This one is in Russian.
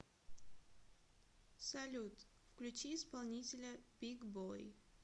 салют включи исполнителя биг бой